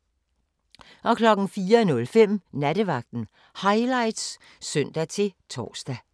04:05: Nattevagten Highlights (søn-tor)